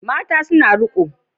Mata suna riƙo